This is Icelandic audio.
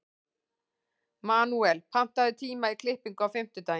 Manuel, pantaðu tíma í klippingu á fimmtudaginn.